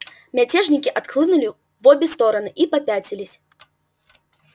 мятежники отхлынули в обе стороны и попятились